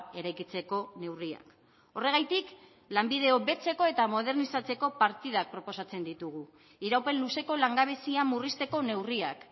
eraikitzeko neurriak horregatik lanbide hobetzeko eta modernizatzeko partidak proposatzen ditugu iraupen luzeko langabezia murrizteko neurriak